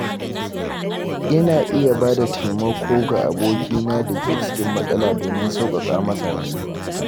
Ina iya ba da taimako ga abokina da ke cikin matsala domin sauƙaƙa masa damuwa.